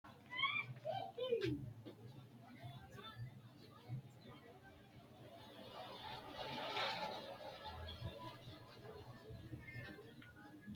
Wogate uduun nubba qixxeessinannisi garinni nafa mitte dagaha gobbase giddo kala qantino egennonna biinfille xawissanno miinjuwaati, aante noori giddo hiittenneeti?